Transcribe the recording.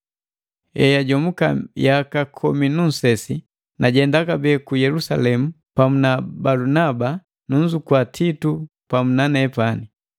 Eyajomuka yaka komi nu nsesi, najenda kabee ku Yelusalemu pamu na Balunaba, nunzukua Titu pamu na nepani.